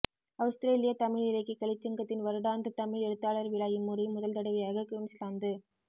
Australia Tamil இலக்கிய கலைச்சங்கத்தின் வருடாந்த தமிழ் எழுத்தாளர் விழா இம்முறை முதல் தடவையாக குவின்ஸ்லாந்து